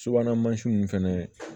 Subahana mansin ninnu fɛnɛ